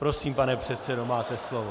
Prosím, pane předsedo, máte slovo.